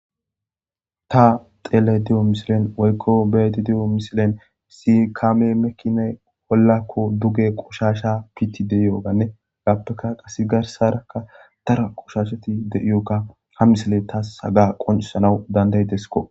Ta xeele di7o misilen woykko beeti diyo misilen si kame mekine wollakko duge qushasha piti deiyoganne gaappeka qas garsarakka tara qushaashati deiyoka ha misile tas haga qonisanaw danday deskko